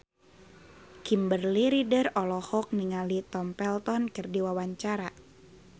Kimberly Ryder olohok ningali Tom Felton keur diwawancara